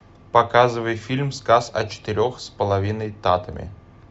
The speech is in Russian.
показывай фильм сказ о четырех с половиной татами